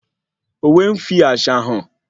Òwe n fí àṣà hàn